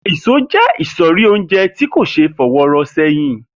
Èso jé̩ ìsò̩rí oúnje̩ tí kò s̩e é fo̩wó̩ ró̩ sé̩yìn